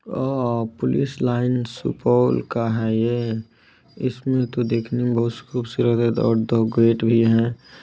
अ police line Supaul का है ये इसमें तो देखने में बहुत ही खूबसूरत है और दो गेट भी हैं।